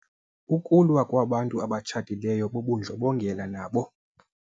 Ukulwa kwabantu abatshatileyo bubundlobongela nabo.